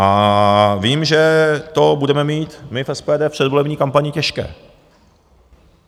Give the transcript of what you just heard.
A vím, že to budeme mít my v SPD v předvolební kampani těžké.